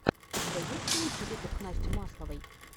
у тебя есть лучший выпуск насти масловой